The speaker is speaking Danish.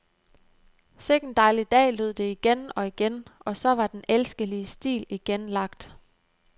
Sikken dejlig dag lød det igen og igen, og så var den elskelige stil igen lagt.